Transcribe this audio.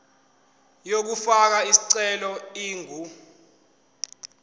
yokufaka isicelo ingu